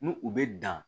N'u u bɛ dan